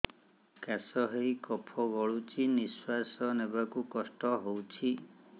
କାଶ ହେଇ କଫ ଗଳୁଛି ନିଶ୍ୱାସ ନେବାକୁ କଷ୍ଟ ହଉଛି